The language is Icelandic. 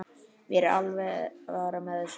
Mér er alvara með þessu.